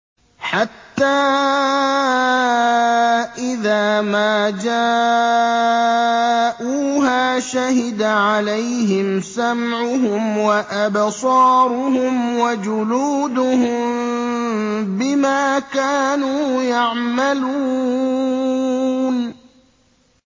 حَتَّىٰ إِذَا مَا جَاءُوهَا شَهِدَ عَلَيْهِمْ سَمْعُهُمْ وَأَبْصَارُهُمْ وَجُلُودُهُم بِمَا كَانُوا يَعْمَلُونَ